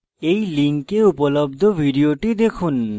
এই লিঙ্কে উপলব্ধ video দেখুন